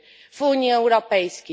w Unii Europejskiej.